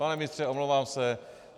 Pane ministře, omlouvám se.